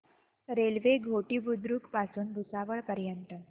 railway Ghoti Budruk पासून भुसावळ पर्यंत